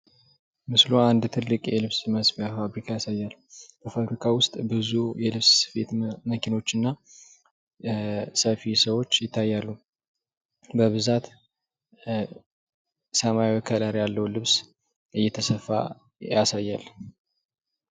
ምስሉ አንድ ትልቅ የልብስ መስፊያ ፋብሪካን ያሳያል። ፋብሪካ ውስጥ ብዙ የልብስ ስፌት መኪኖችና እና ሰፊ ሰዎች ይታያሉ። በብዛት ኧ ሰማያዊ ከለር ያለው ልብስ እየተሰፋ ያሳያል።